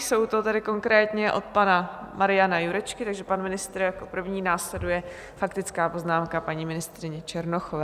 Jsou to tedy konkrétně od pana Mariana Jurečky, takže pan ministr jako první, následuje faktická poznámka paní ministryně Černochové.